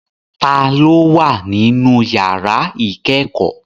Ta ló wà nínú yàrá ìkẹ́kọ̀ọ́?